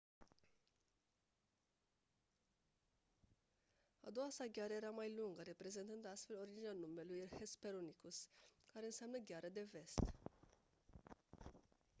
a doua sa gheară era mai lungă reprezentând astfel originea numelui hesperonychus care înseamnă «gheara de vest».